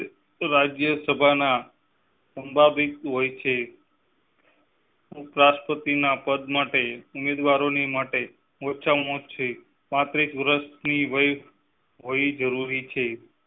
રાજ્ય સભાના હોય છે. ઉપરાષ્ટ્રપતિ ના પદ માટે ઉમેદવારો ને માટે ઓછા માં ઓછા પાંત્રીસ વરસ ની વ્હી હોવી જરૂરી છ